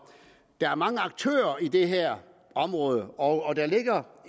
der er mange aktører på det her område og der ligger